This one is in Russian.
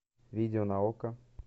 видео на окко